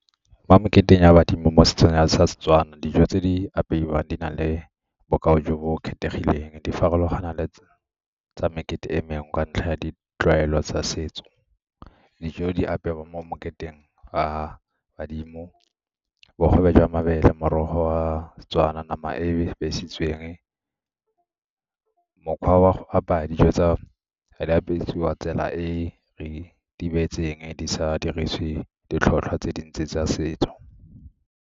Mo moketeng wa badimo mo setsong sa Setswana, dijo tse di apeiwang di na le bokao jo bo kgethegileng, di farologana le tsa mekete e mengwe ka ntlha ya ditlwaelo tsa setso. Dijo di apeiwa mo moketeng wa badimo, bogobe jwa mabele, morogo wa seTswana, nama e e besitsweng, mokgwa wa go apaya dijo tsa , tsela e re di beetseng di sa dirisiwe ditlhotlhwa tse dintsi tsa setso.